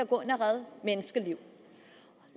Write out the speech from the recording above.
gå ind og redde menneskeliv